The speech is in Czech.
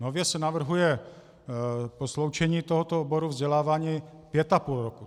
Nově se navrhuje sloučení tohoto oboru vzdělávání pět a půl roku.